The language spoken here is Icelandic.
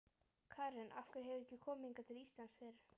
Karen: Af hverju hefurðu ekki komið hingað til Íslands fyrr?